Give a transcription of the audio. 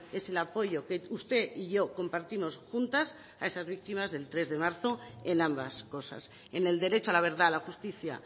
es el apoyo que usted y yo compartimos juntas a esas víctimas del tres de marzo en ambas cosas en el derecho a la verdad la justicia